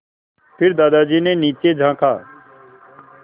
फिर दादाजी ने नीचे झाँका